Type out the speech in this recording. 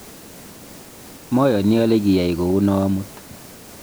mayani ale kiyai kou noe amut